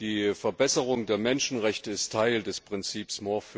Die Verbesserung der Menschenrechte ist Teil des Prinzips